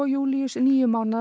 Júlíus níu mánaða